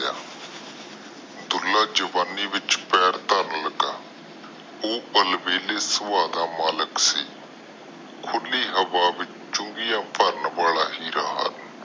ਦੁੱਲਾ ਜਵਾਨੀ ਵਿਚ ਪੈਰ ਧਰਨ ਲਗਾ ਉਹ ਪਰ ਵੇਹਲੇ ਸੂਬਾ ਦਾ ਮਲਿਕ ਸੀ ਖੁੱਲਿਆ ਹਵਾ ਵਿਚ ਚੁੰਗੀਆਂ ਭਰਨ ਵਾਲਾ ਹੀਰਾ ਹਨ